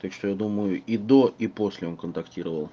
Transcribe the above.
так что я думаю и до и после он контактировал